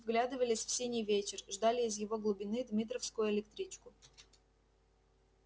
вглядывались в синий вечер ждали из его глубины дмитровскую электричку